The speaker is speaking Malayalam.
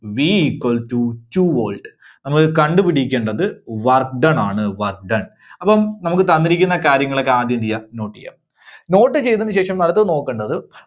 V equals to two volt. നമ്മള് കണ്ട് പിടിക്കേണ്ടത് work done ആണ്, work done. അപ്പം നമുക്ക് തന്നിരിക്കുന്ന കാര്യങ്ങളൊക്കെ ആദ്യം എന്ത് ചെയ്യുക note ചെയ്യുക. note ചെയ്‌തതിനുശേഷം അടുത്തത് നോക്കണ്ടത്,